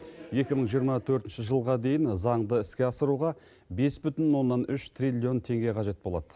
екі мың жиырма төртінші жылға дейін заңды іске асыруға бес бүтін оннан үш триллион теңге қажет болады